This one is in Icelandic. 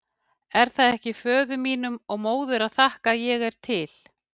Er það ekki föður mínum og móður að þakka að ég er til?